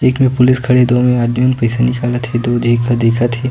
एक में पुलिस खड़े हे दोनों आदमी पईसा निकालत हे अऊ दो एक ह दिखत हे।